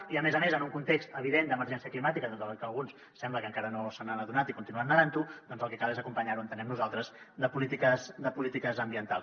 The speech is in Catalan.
i a més a més en un context evident d’emergència climàtica tot i que alguns sembla que encara no se n’han adonat i continuen negant ho doncs el que cal és acompanyar ho entenem nosaltres de polítiques ambientals